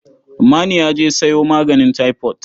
Manu ya je sayo maganin taifot.